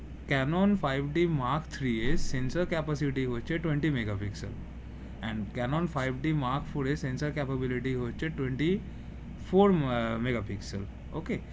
Canon five d mark three এর sensor capacity হচ্ছে twenty Megapixel and cannon five d mark four এর sensor capability হচ্ছে twenty four megapixel ওকে